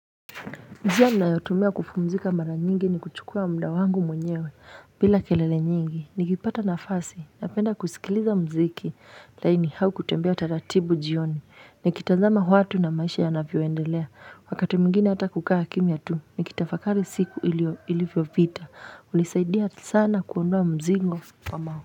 Njia ninayotumia kupumzika mara nyingi ni kuchukua muda wangu mwenyewe bila kelele nyingi nikipata nafasi napenda kusikiliza muziki laini au kutembea taratibu jioni Nikitazama watu na maisha yanavyoendelea wakati mwingine hata kukaa kimya tu nikitafakari siku ilivyopita hunisaidia sana kuondoa mzigo wa.